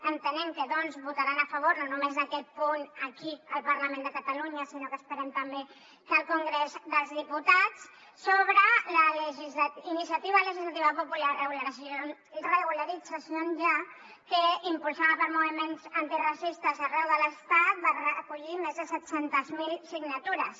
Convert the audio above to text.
entenem que doncs votaran a favor no només d’aquest punt aquí al parlament de catalunya sinó que esperem també que al congrés dels diputats sobre la iniciativa legislativa popular regularización ya que impulsada per moviments antiracistes arreu de l’estat va recollir més de set cents miler signatures